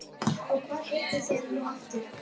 Og hvað heitið þér nú aftur